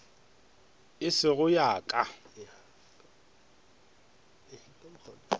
ye e sego ya ka